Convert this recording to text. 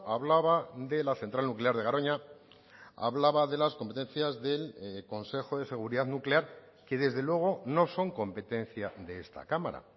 hablaba de la central nuclear de garoña hablaba de las competencias del consejo de seguridad nuclear que desde luego no son competencia de esta cámara